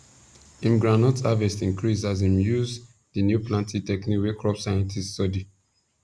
him groundnut harvest increase as him use the new planting technique wey crop scientist study